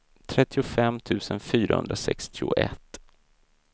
trettiofem tusen fyrahundrasextioett